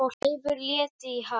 Leifur lætur í haf